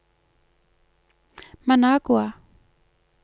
Managua